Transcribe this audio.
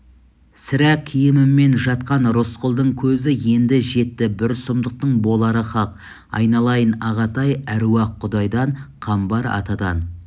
сірә киімімен жатқан рысқұлдың көзі енді жетті бір сұмдықтың болары хақ айналайын ағатай әруақ-құдайдан қамбар атадан